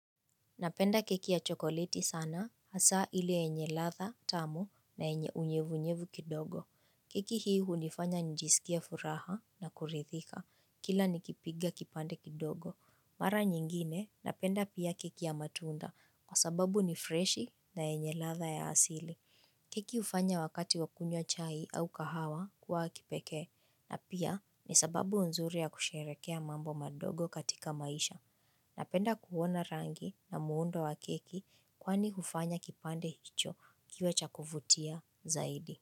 Napenda keki ya chokoleti sana hasa ili enye ladha tamu na enye unyevunyevu kidogo. Keki hii hunifanya nijisikie furaha na kuridhika kila nikipiga kipande kidogo. Mara nyingine napenda pia keki ya matunda kwa sababu ni freshi na yenye ladha ya asili. Keki hufanya wakati wa kunywa chai au kahawa kuwa wa kipekee na pia ni sababu nzuri ya kusherehekea mambo madogo katika maisha na penda kuona rangi na muundo wa keki kwani hufanya kipande hicho kiwe cha kuvutia zaidi.